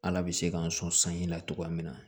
Ala bɛ se k'an sɔn sanji la cogoya min na